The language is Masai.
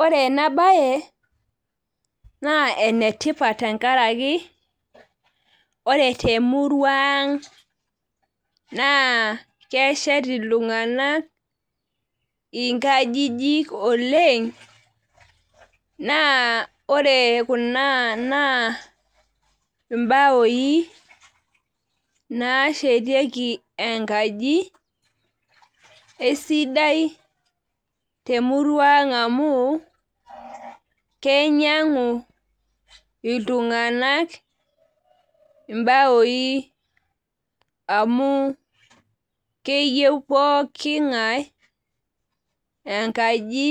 Ore enabae naa enetipat tenkaraki ore temurua ang naa keshet iltunganak inkajijik oleng naa ore kuna naa imbaoi nashetiki enkaji , eisidai temurua ang amu kinyiangu iltunganak imbaoi amu keyieu pooki ngae enkaji